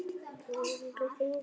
Þú hefur þó ekki hoggið?